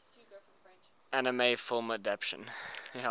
anime film adaptation